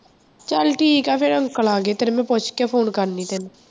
ਚੱਲ ਠੀਕ ਹੈ ਫਿਰ ਅੰਕਲ ਆ ਗਏ ਤੇਰੇ, ਮੈਂ ਪੁੱਛ ਕੇ phone ਕਰਨੀ ਤੈਨੂੰ।